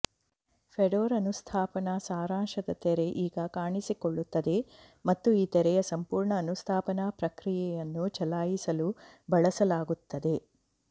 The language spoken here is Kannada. ಫೆಡೋರ ಅನುಸ್ಥಾಪನಾ ಸಾರಾಂಶದ ತೆರೆ ಈಗ ಕಾಣಿಸಿಕೊಳ್ಳುತ್ತದೆ ಮತ್ತು ಈ ತೆರೆಯು ಸಂಪೂರ್ಣ ಅನುಸ್ಥಾಪನಾ ಪ್ರಕ್ರಿಯೆಯನ್ನು ಚಲಾಯಿಸಲು ಬಳಸಲಾಗುತ್ತದೆ